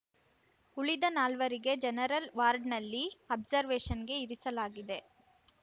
ಉಳಿದ ನಾಲ್ವರಿಗೆ ಜನರಲ್‌ ವಾರ್ಡ್‌ನಲ್ಲಿ ಅಬ್ಜರ್‌ವೇಷನ್‌ಗೆ ಇರಿಸಲಾಗಿದೆ